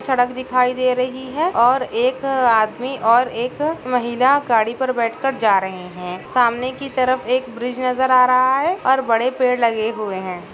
सड़क दिखाई दे रही है और एक आदमी और एक महिला गाड़ी पर बैठ कर जा रहे है सामने कि तरफ एक ब्रिज नज़र आ रहा है और बड़े पेड़ लगे हुए है।